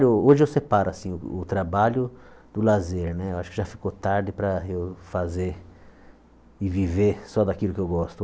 Hoje eu separo assim o trabalho do lazer né, acho que já ficou tarde para eu fazer e viver só daquilo que eu gosto.